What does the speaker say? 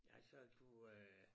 Ja så du øh